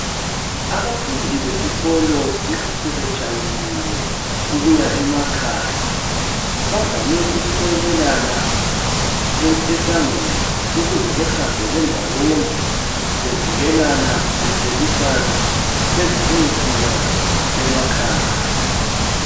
Abafundi besikolo nxa sebetshayisile ukuya emakhaya bavame ukumelelana esangweni. Ukuze behambe bendawonye bevikelana beselusana bezebeyefika emakhaya.